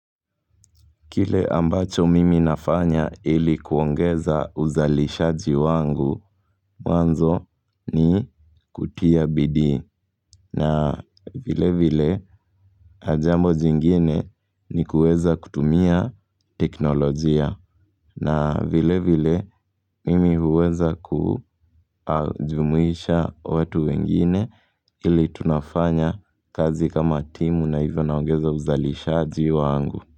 Kile ambacho mimi nafanya ili kuongeza uzalishaji wangu wanzo ni kutia bidii. Na vile vile jambo jingine ni kuweza kutumia teknolojia. Na vile vile mimi huweza kujumuisha watu wengine ili tunafanya kazi kama timu na hivyo naongeza uzalishaji wangu.